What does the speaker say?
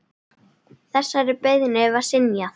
Þessari beiðni var synjað.